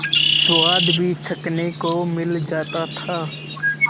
स्वाद भी चखने को मिल जाता था